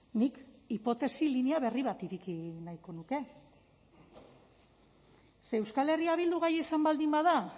nik hipotesi linea berri bat ireki nahiko nuke ze euskal herria bildu gai izan baldin bada